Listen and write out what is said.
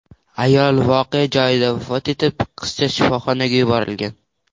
Ayol voqea joyida vafot etib, qizcha shifoxonaga yuborilgan.